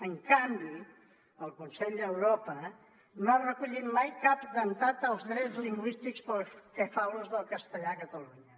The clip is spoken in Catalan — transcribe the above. en canvi el consell d’europa no ha recollit mai cap atemptat als drets lingüístics pel que fa a l’ús del castellà a catalunya